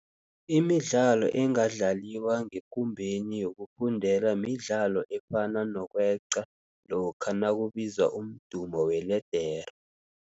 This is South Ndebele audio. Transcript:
Imidlalo engadlaliwa ngekumbeni yokufundela midlalo efana nokweqa lokha nakubizwa umdumo weledere.